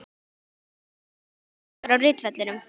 Hann ætlar að vinna mikinn sigur á ritvellinum.